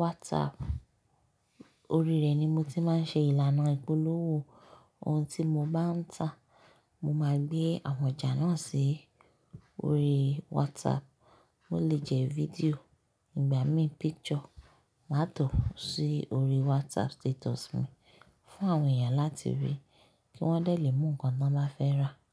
WhatsApp. Orí rẹ̀ ni mo ti máa ń ṣe ìlànà ìpolówó. Ohun tí mo bá ń tà, mo máa gbé àwọn ọjà náà sí orí WhatsApp. Ó lè jẹ́ fídíò ìgbà mí picture má tọ̀ sí orí WhatsApp status mi fún àwọn èèyàn láti rí kí wọ́n déle mú nǹkan tí wọ́n bá fẹ́ rà.